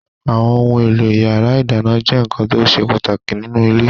Àwọn ohun-èlò ìyàrá-ìdáná jẹ́ nǹkan tó ṣe pàtàkì nínú ilé.